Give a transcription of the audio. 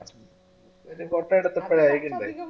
ഒരു കത്ത് എടുത്തിട്ട് അയക്കേണ്ടേ